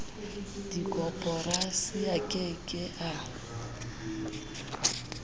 dikoporasi a ke ke a